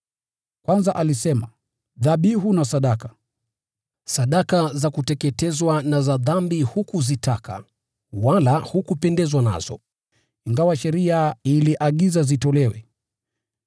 Kwanza alisema, “Dhabihu na sadaka, sadaka za kuteketezwa na za dhambi hukuzitaka, wala hukupendezwa nazo” (ingawa sheria iliagiza zitolewe).